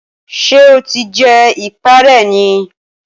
Ṣé o ti jẹ ìpá rẹ ni?